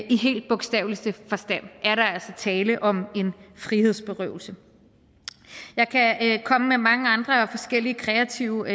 i helt bogstaveligste forstand er der altså tale om en frihedsberøvelse jeg kan komme med mange andre forskellige kreative